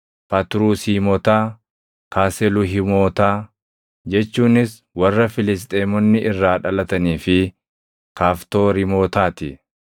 Fatrusiimotaa, Kaseluhiimotaa, jechuunis warra Filisxeemonni irraa dhalatanii fi Kaftooriimotaa ti.